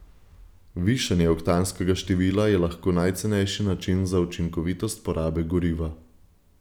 Višanje oktanskega števila je lahko najcenejši način za učinkovitost porabe goriva.